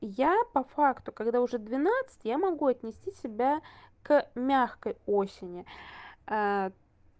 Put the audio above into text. я по факту когда уже двенадцать я могу отнести себя к мягкой осени